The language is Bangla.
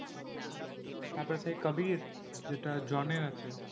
তারপরে সেই কবির যেটা জনের আছে।